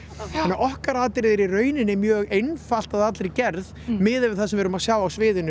okkar atriði er í rauninni mjög einfalt að allri gerð miðað við það sem við erum að sjá á sviðinu